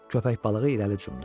Köpək balığı irəli cumdu.